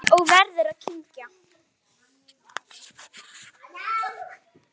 Og verður að kyngja.